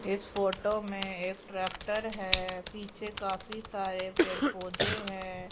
इस फोटो में एक ट्रैक्टर है। पीछे काफी सारे पेड़-पौधे हैं।